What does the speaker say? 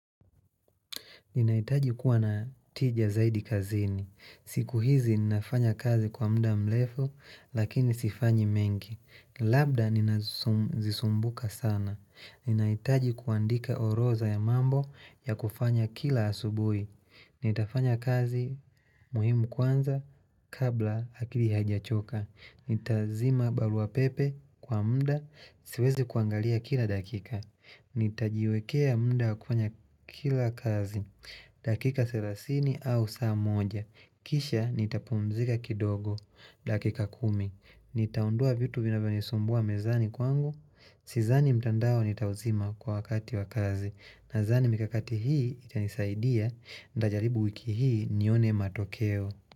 Ninaitaji kuwa na tija zaidi kazini. Siku hizi ninafanya kazi kwa muda mlefu lakini sifanyi mengi. Labda ninazisumbuka sana. Ninaitaji kuandika orodha ya mambo ya kufanya kila asubui. Nitafanya kazi muhimu kwanza kabla akili haijachoka Nitazima barua pepe kwa muda siwezi kuangalia kila dakika Nitajiwekea muda kufanya kila kazi dakika selasini au saa moja Kisha nitapumzika kidogo dakika kumi Nitaondoa vitu vinavyo nisumbua mezani kwangu Sizani mtandao nitauzima kwa wakati wakazi nazani mikakati hii itanisaidia ndajaribu wiki hii nione matokeo.